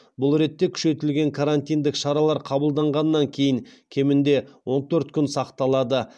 бұл ретте күшейтілген карантиндік шаралар қабылданғаннан кейін кемінде он төрт күн сақталады